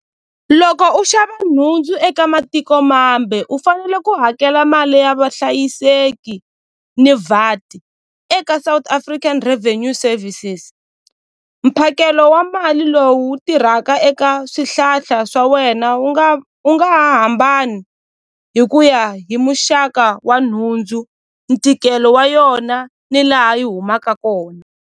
Loko u xava nhundzu eka matiko mambe u fanele ku hakela mali ya vahlayiseki ni eka South African Revenue Services mphakelo wa mali lowu tirhaka eka swihlahla swa wena wu nga wu nga ha hambani hi ku ya hi muxaka wa nhundzu ntikelo wa yona ni laha yi humaka kona.